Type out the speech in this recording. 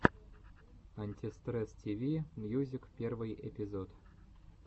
антистресс тиви мьюзик первый эпизод